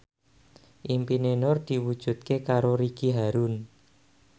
impine Nur diwujudke karo Ricky Harun